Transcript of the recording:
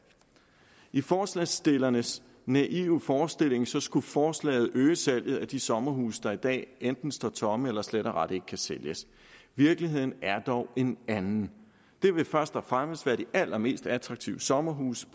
i forslagsstillernes naive forestilling skulle forslaget øge salget af de sommerhuse der i dag enten står tomme eller slet og ret ikke kan sælges virkeligheden er dog en anden det vil først og fremmest være de allermest attraktive sommerhuse